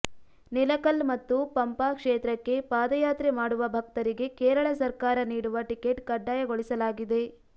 ನಿಲಕಲ್ ಮತ್ತು ಪಂಪಾ ಕ್ಷೇತ್ರಕ್ಕೆ ಪಾದಯಾತ್ರೆ ಮಾಡುವ ಭಕ್ತರಿಗೆ ಕೇರಳ ಸರ್ಕಾರ ನೀಡುವ ಟಿಕೆಟ್ ಕಡ್ಡಾಯಗೊಳಿಸಲಾಗಿದೆ